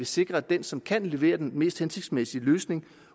sikrer at den som kan levere den mest hensigtsmæssige løsning